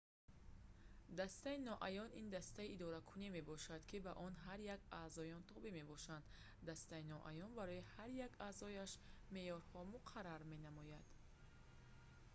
дастаи ноаён» - ин дастаи идоракуние мебошад ки ба он ҳар яки аъзоён тобеъ мебошанд. дастаи ноаён барои ҳар як аъзояш меъёрҳо муқаррар менамояд